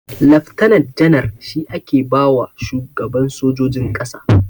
Leftana janar shi ake bawa shugaban sojojin ƙasa.